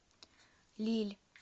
лилль